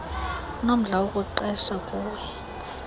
unomdla wokuqesha kuwe